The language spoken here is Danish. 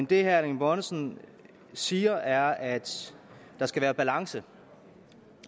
det herre erling bonnesen siger er at der skal være balance